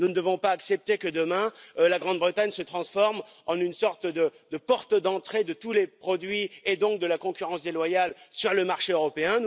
Nous ne devons pas accepter que demain le Royaume Uni se transforme en une sorte de porte d'entrée de tous les produits, et donc de la concurrence déloyale, sur le marché européen.